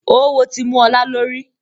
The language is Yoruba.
Oówo tí mú ọlá lórí